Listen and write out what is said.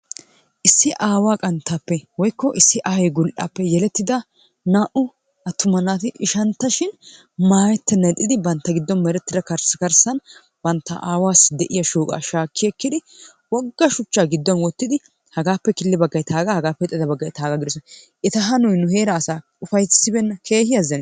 Issi awaa qanttaappe woykko issi ayee gulappe yelettidaa na''u attuma naati ishaantta shin mayettenanni ixxiddi bantta giddon mertiddaa karssi karsan banttaa awassi de'iyaa shoqqaa shaaki ekkidi woga shucha gidduwan wottiddi hagappe killi baggay taga hagappe qommo baggay taga gidosonna, ettaa hannoy nu heeraa asaa ufassibenna keehi azanisissi.